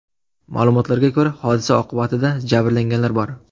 Ma’lumotlarga ko‘ra hodisa oqibatida jabrlanganlar bor.